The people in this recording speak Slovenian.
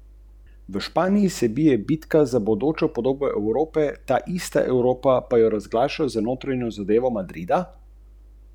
Zvoneči alarm?